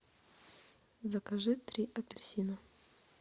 закажи три апельсина